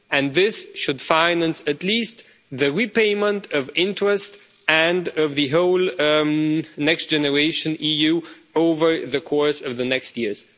And this should finance at least the repayment of interest and of the whole Next Generation EU over the course of the next years.